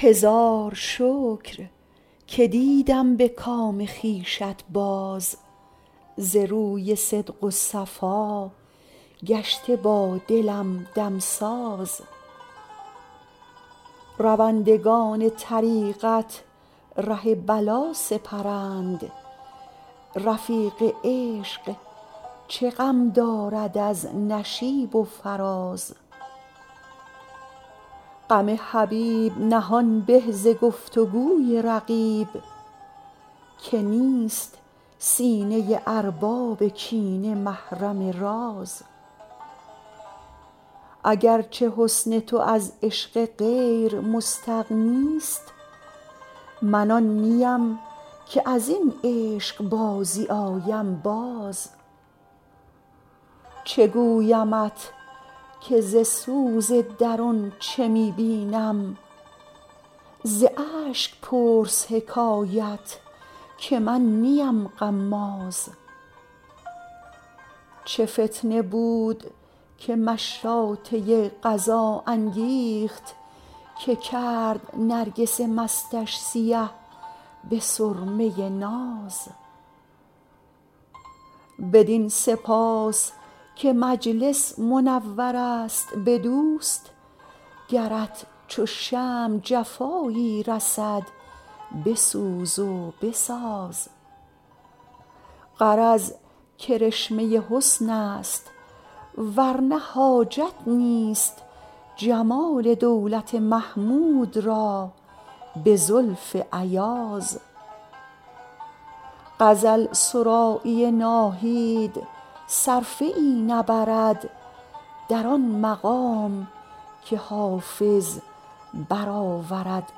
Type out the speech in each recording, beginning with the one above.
هزار شکر که دیدم به کام خویشت باز ز روی صدق و صفا گشته با دلم دمساز روندگان طریقت ره بلا سپرند رفیق عشق چه غم دارد از نشیب و فراز غم حبیب نهان به ز گفت و گوی رقیب که نیست سینه ارباب کینه محرم راز اگر چه حسن تو از عشق غیر مستغنی ست من آن نیم که از این عشق بازی آیم باز چه گویمت که ز سوز درون چه می بینم ز اشک پرس حکایت که من نیم غماز چه فتنه بود که مشاطه قضا انگیخت که کرد نرگس مستش سیه به سرمه ناز بدین سپاس که مجلس منور است به دوست گرت چو شمع جفایی رسد بسوز و بساز غرض کرشمه حسن است ور نه حاجت نیست جمال دولت محمود را به زلف ایاز غزل سرایی ناهید صرفه ای نبرد در آن مقام که حافظ برآورد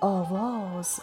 آواز